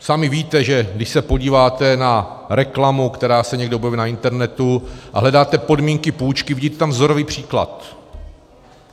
Sami víte, že když se podíváte na reklamu, která se někde objeví na internetu, a hledáte podmínky půjčky, vidíte tam vzorový příklad.